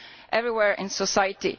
everywhere in society.